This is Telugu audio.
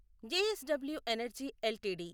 JSW energy LTD